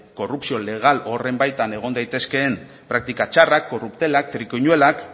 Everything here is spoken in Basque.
korrupzio legal horren baitan egon daitezkeen praktika txarrak korruptelak trikiñuelak